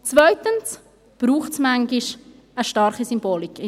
Zweitens braucht es in der Geschichte manchmal eine starke Symbolik.